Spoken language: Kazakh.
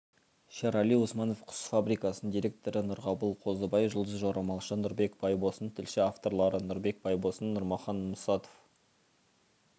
шерали усманов құс фабрикасының директоры нұрғабыл қозыбай жұлдыз-жорамалшы нұрбек байбосын тілші авторлары нұрбек байбосын нұрмахан мұсатов